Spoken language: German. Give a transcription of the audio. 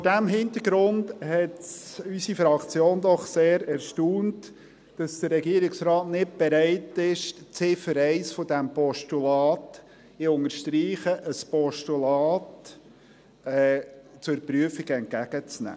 Vor diesem Hintergrund hat es unsere Fraktion doch sehr erstaunt, dass der Regierungsrat nicht bereit ist, die Ziffer 1 dieses Postulats – ich unterstreiche: ein Postulat – zur Prüfung entgegenzunehmen.